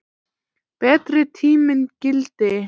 Betri tíminn gilti.